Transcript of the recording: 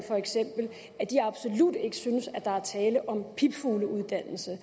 absolut ikke synes at der er tale om pipfugleuddannelser